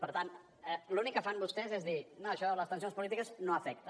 per tant l’únic que fan vostès és dir no això de les tensions polítiques no els afecta